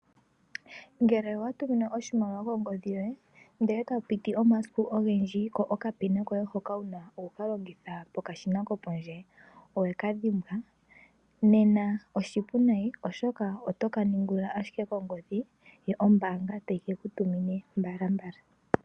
Ngele owatuminwa oshimaliwa kongodhi yoye ndele tapupiti omasiku ogendji ko okanonomola komeholamo hoka wuna hokalongitha po pokashina kopondje owekadhimbwa oshipu nayi oshoka otaka ningulula ashike kongodhi yoye yo ombaanga tayi keku tumine mbalambala.